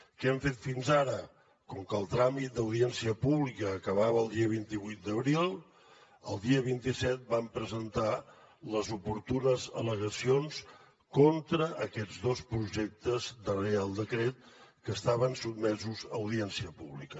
què hem fet fins ara com que el tràmit d’audiència pública acabava el dia vint vuit d’abril el dia vint set vam presentar les oportunes al·legacions contra aquests dos projectes de reial decret que estaven sotmesos a audiència pública